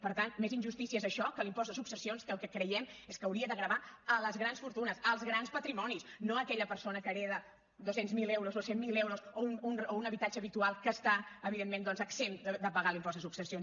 per tant més injustícia és això que l’impost de successions que el que creiem és que hauria de gravar les grans fortunes els grans patrimonis no a aquella persona que hereta dos cents miler euros o cent miler euros o un habitatge habitual que està evidentment doncs exempt de pagar l’impost de successions